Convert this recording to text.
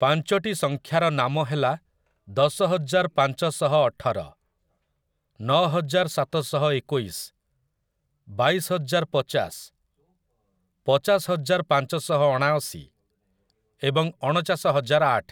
ପାଞ୍ଚଟି ସଂଖ୍ୟାର ନାମ ହେଲା ଦଶହଜାର ପାଞ୍ଚଶହ ଅଠର, ନଅହଜାର ସାତଶହ ଏକୋଇଶ, ବାଇଶହଜାର ପଚାଶ, ପଚାଶ ହଜାର ପାଞ୍ଚଶହ ଅଣାଅଶୀ ଏବଂ ଅଣଚାଶ ହଜାର ଆଠ ।